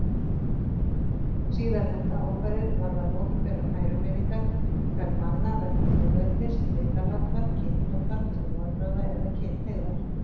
Síðarnefnda ákvæðið varðar opinberar ærumeiðingar í garð manna vegna þjóðernis, litarháttar, kynþáttar, trúarbragða eða kynhneigðar.